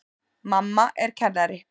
Mamma er kennari.